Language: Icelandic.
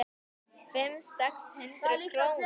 Fimm, sex hundruð krónur?